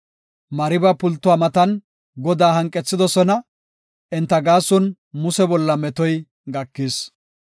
Mariba pultuwa matan Godaa hanqethidosona; enta gaason Muse bolla metoy gakis.